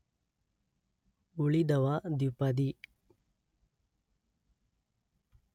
ಉಳಿದವ ದ್ವಿಪದಿ